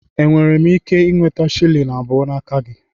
Enwere m ike ị nweta shilling abụọ n'aka gị?